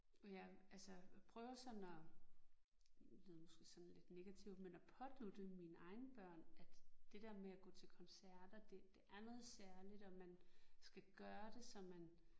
Og jeg altså prøver sådan at lyder måske sådan lidt negativt men at pådutte mine egne børn at det der med at gå til koncerter det det er noget særligt og man skal gøre det så man